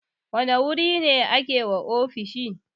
Wane wuri ne ake wa ofishi?